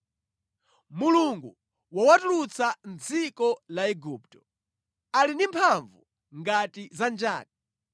Mulungu wowatulutsa mʼdziko la Igupto, ali ndi mphamvu ngati za njati.